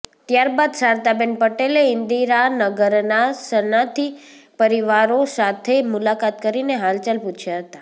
ત્યારબાદ શારદાબેન પટેલે ઈન્દીરાનગરના શરણાર્થી પરિવારો સાથે મુલાકાત કરીને હાલચાલ પૂછ્યાં હતા